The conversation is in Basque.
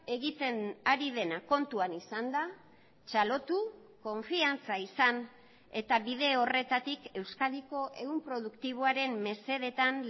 egiten ari dena kontuan izanda txalotu konfiantza izan eta bide horretatik euskadiko ehun produktiboaren mesedetan